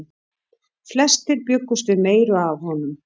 Flestir bjuggust við meiru af honum.